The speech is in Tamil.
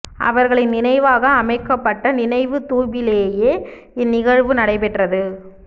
அவர்களின் நினைவாக அமைக்கப்பட்ட நினைவுத் தூபிலேயே இந் நிகழ்வு நடைபெற்றது